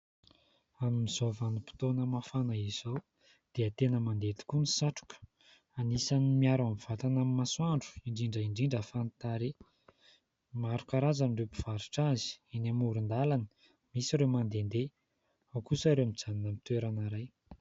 Amin'izao vanim-potoana mafana izao dia tena mandeha tokoa ny satroka .Anisan'ny miaro ny vatana amin'ny masoandro, indrindra indrindra fa ny tarehy. Maro karazana ireo mpivarotra azy : eny amoron-dalana ; misy ireo mandendeha, ao kosa ireo mijanona amin'ny toerana iray.